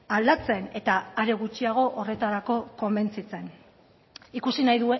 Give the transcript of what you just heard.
aldatzen eta are gutxiago horretarako konbentzitzen ikusi nahi